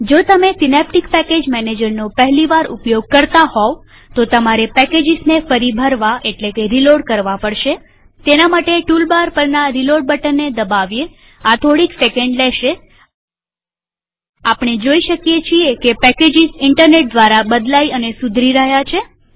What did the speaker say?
જો તમે Synaptic package મેનેજરનો પહેલી વાર ઉપયોગ કરતા હોવતો તમારે પેકેજીસને ફરી ભરવાપડશેતેના માટે ટૂલ બાર પરના રીલોડ બટનને દબાવીએઆ થોડીક સેકંડ લેશેઆપણે જોઈ શકીએ છીએ કે પેકેજીસ ઈન્ટરનેટ દ્વારા બદલાઈ અને સુધારી રહ્યા છે